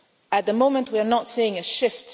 today. At the moment we are not seeing